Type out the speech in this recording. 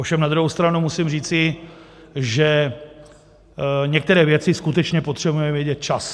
Ovšem na druhou stranu musím říci, že některé věci skutečně potřebujeme vědět včas.